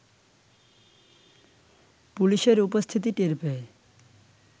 পুলিশের উপস্থিতি টের পেয়ে